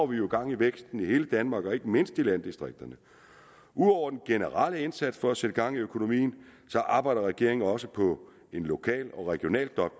vi jo gang i væksten i hele danmark og ikke mindst i landdistrikterne ud over den generelle indsats for at sætte gang i økonomien arbejder regeringen også på en lokal og regional